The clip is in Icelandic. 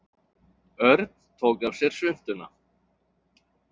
Örn tók af sér svuntuna.